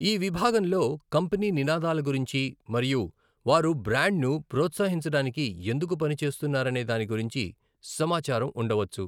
ఈ విభాగంలో కంపెనీ నినాదాల గురించి మరియు వారు బ్రాండ్ను ప్రోత్సహించడానికి ఎందుకు పనిచేస్తున్నారనే దాని గురించి సమాచారం ఉండవచ్చు.